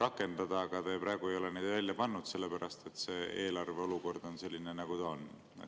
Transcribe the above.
rakendada, aga te praegu ei ole neid välja pakkunud, sest eelarve olukord on selline, nagu ta on.